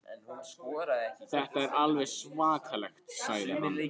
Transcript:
Þetta er alveg svakalegt sagði hann.